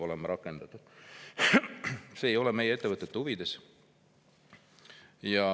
See ei ole meie ettevõtete huvides.